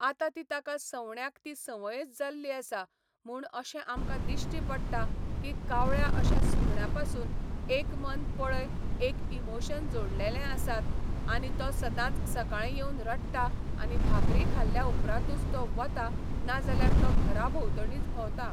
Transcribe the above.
आता ती ताका सवण्याक ती संवयच जाल्ली आसा म्हूण अशें आमकां दिश्टी पडटा की कावळ्या अश्या सुकण्यां पासुन एक मन पळय एक इमोशन जोडलेले आसात आनी तो सदांच सकाळीं येवन रडटा आनी भाकरी खाल्ल्या उपरांतूच तो वता नाजाल्यार तो घरा भोंवतणीच भोंवता